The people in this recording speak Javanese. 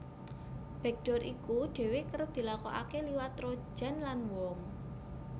Backdoor iku dhéwé kerep dilakokaké liwat trojan lan worm